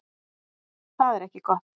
Það er ekki gott.